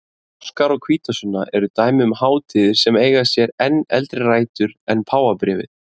Páskar og hvítasunna eru dæmi um hátíðir sem eiga sér enn eldri rætur en páfabréfið.